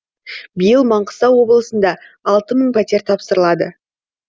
биыл маңғыстау облысында алты мың пәтер тапсырылады